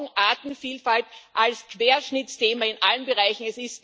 Wir brauchen Artenvielfalt als Querschnittsthema in allen Bereichen.